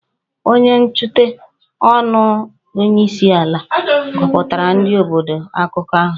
Onye nkwuchite ọnụ onyeisiala gụpụtara ndị obodo akụkọ ahụ